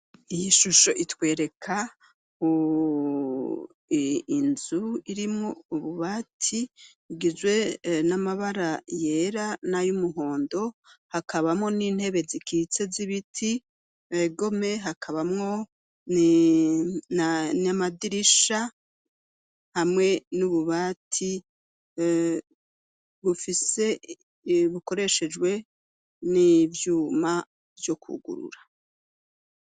Iyi shusho itwereka inzu irimwo ububati bugizwe n'amabara yera nay'umuhondo hakabamo n'intebe zikitse z'ibiti, egome ,hakabamwo n'amadirisha hamwe n'ububati bufise bukoreshejwe n'ivyuma vyo kugurura.